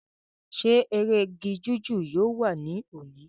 ṣé eré igi jíjù yóò wà ní òní?